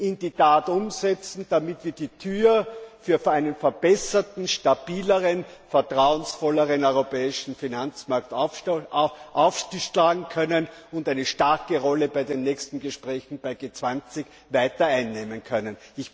in die Tat umsetzen, damit wir die Tür für einen verbesserten, stabileren, vertrauensvolleren europäischen Finanzmarkt aufschlagen können und eine starke Rolle bei den nächsten Gesprächen bei G20 weiter einnehmen können.